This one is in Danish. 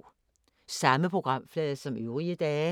Samme programflade som øvrige dage